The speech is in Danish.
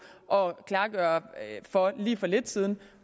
og klargøre for lige for lidt siden